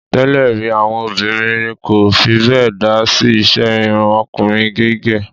Tẹ́lè rí, àwọn obìnrin kò fi bẹ́ẹ̀ dá sí iṣẹ́ irun ọkùnrin gígẹ̀.